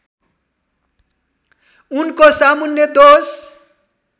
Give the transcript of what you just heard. उनको सामुन्ने दोष